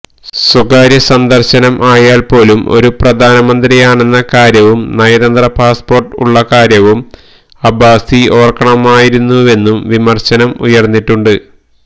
സ്വകാര്യ സന്ദര്ശനം ആയാല്പ്പോലും ഒരു പ്രധാനമന്ത്രിയാണെന്ന കാര്യവും നയതന്ത്ര പാസ്പോര്ട്ട് ഉള്ളകാര്യവും അബ്ബാസി ഓര്ക്കണമായിരുന്നുവെന്നും വിമര്ശനം ഉയര്ന്നിട്ടുണ്ട്